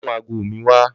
Lò mú àgó mi wà